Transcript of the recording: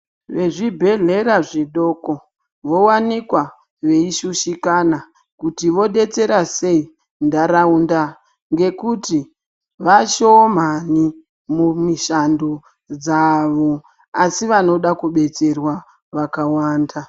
Vezvibhedhlera zvidoko vowanikwa veishushikana kuti vodetsera sei ndaraunda ngekuti vashomani mumishando dzawo asi vanoda kubetserwa vakawanda.